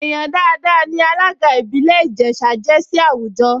Èèyàn dáadáa ní alága ìbílẹ̀ Ìjẹ̀ṣà jẹ́ sí àwùjọ